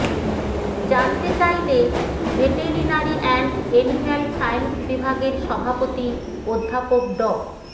জানতে চাইলে veterinary and animal science বিভাগের সভাপতি অধ্যাপক ড